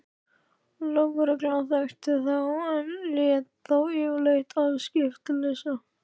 Lögreglan þekkti þá en lét þá yfirleitt afskiptalausa.